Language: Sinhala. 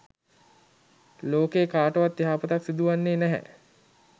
ලෝකයේ කාටවත් යහපතක් සිදුවන්නේ නැහැ.